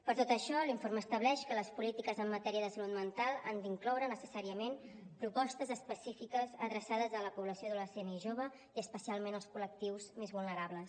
per tot això l’informe estableix que les polítiques en matèria de salut mental han d’incloure necessàriament propostes específiques adreçades a la població adolescent i jove i especialment als col·lectius més vulnerables